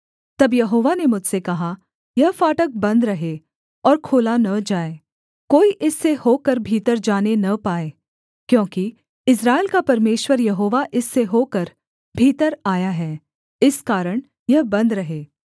तब यहोवा ने मुझसे कहा यह फाटक बन्द रहे और खोला न जाए कोई इससे होकर भीतर जाने न पाए क्योंकि इस्राएल का परमेश्वर यहोवा इससे होकर भीतर आया है इस कारण यह बन्द रहे